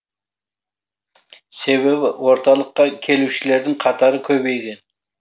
себебі орталыққа келушілердің қатары көбейген